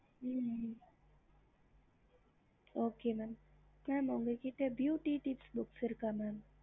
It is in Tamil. main branch இங்க வந்து மாத்திட்டோம்